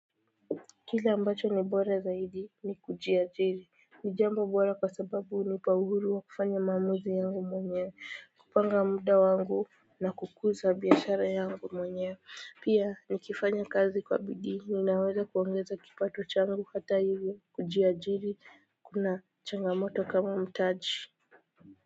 Kila ambacho ni bora zaidi ni kuji ajiri ni jambo bora kwa sababu hunipa uhuru wa kufanya maamuzi yangu mwenye kupanga muda wangu na kukuza biashara yangu mwenye pia ni kifanya kazi kwa bidii ninaweza kuongeza kipato changu hata hivyo kuji ajiri kuna changamoto kama mtaji.